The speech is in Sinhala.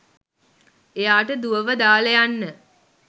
එයාට දුවව දාල යන්න